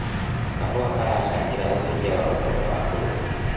Kahũa karacangĩra ũkũria wa ũtonga wa bũrũri